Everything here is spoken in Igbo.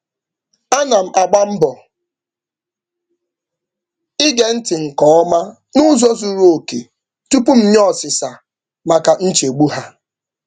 Ana m agba mbọ ige ntị nke ọma n'ụzọ zuru oke tupu m nye osisa maka nchegbu ha.